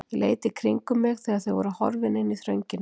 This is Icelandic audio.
Ég leit í kringum mig þegar þau voru horfin inn í þröngina.